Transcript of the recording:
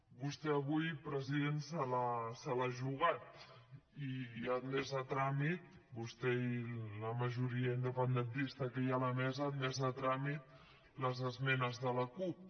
vostè avui president se l’ha jugat i ha admès a tràmit vostè i la majoria independentista que hi ha a la mesa han admès a tràmit les esmenes de la cup